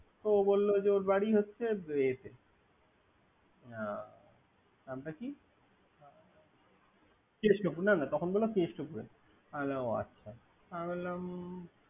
ও বললে যে ওর বাড়ি হচ্ছে ইয়া কৃষ্টপুর। না না কেষ্ট পুর আমি বললাম।